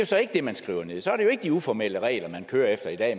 så ikke det man skriver nederst så er det jo ikke de uformelle regler man kører efter i dag